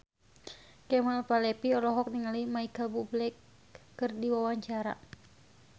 Kemal Palevi olohok ningali Micheal Bubble keur diwawancara